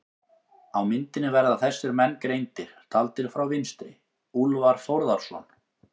Á myndinni verða þessir menn greindir, taldir frá vinstri: Úlfar Þórðarson